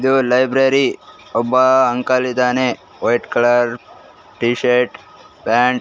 ಇದು ಲೈಬ್ರೆರಿ ಒಬ್ಬ ಅಂಕಲ್ ಇದಾನೆ white colour T shirt pant --